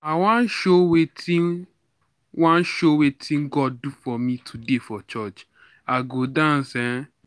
I wan show wetin wan show wetin God do for me today for church. I go dance eh